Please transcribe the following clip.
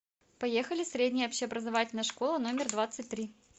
поехали средняя общеобразовательная школа номер двадцать три